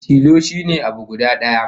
Tilo shine abu guda daya